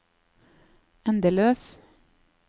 endeløs